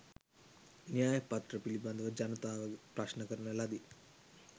න්‍යයපත්‍ර පිළිබඳව ජනතාව ප්‍රශ්ණ කරන ලදී